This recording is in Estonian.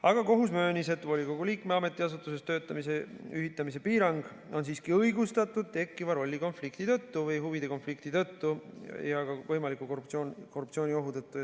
Aga kohus möönis, et volikogu liikme ja ametiasutuses töötamise ühitamise piirang on siiski õigustatud tekkiva rollikonflikti tõttu või huvide konflikti tõttu ja ka võimaliku korruptsiooniohu tõttu.